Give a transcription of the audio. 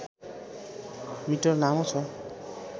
metre लामो छ